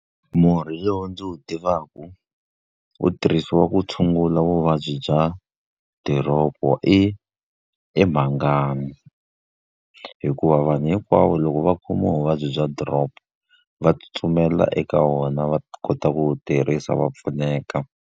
Murhi lowu ndzi wu tivaka, wu tirhisiwa ku tshungula vuvabyi bya diropo i i mhangani. Hikuva vanhu hinkwavo loko va khomiwa vuvabyi bya drop, va tsutsumela eka wona va kota ku wu tirhisa va pfuneka.